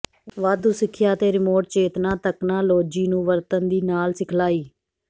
ਵਾਧੂ ਸਿੱਖਿਆ ਅਤੇ ਰਿਮੋਟ ਚੇਤਨਾ ਤਕਨਾਲੋਜੀ ਨੂੰ ਵਰਤਣ ਦੀ ਨਾਲ ਸਿਖਲਾਈ